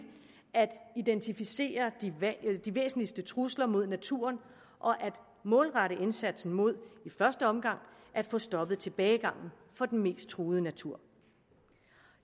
at identificere de væsentligste trusler mod naturen og at målrette indsatsen mod i første omgang at få stoppet tilbagegangen for den mest truede natur